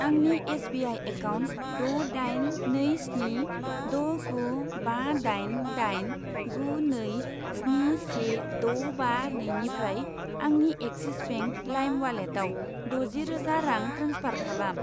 आंनि S B I account द' दाइन नै स्नि द' गु बा दाइन दाइन गु नै स्नि से द' बा नैनिफ्राय आंनि एक्सिस बेंक लाइम उवालेटाव द'जि रोजा रां ट्रेन्सफार खालाम।